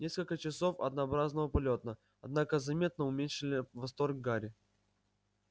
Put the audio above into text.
несколько часов однообразного полёта однако заметно уменьшили восторг гарри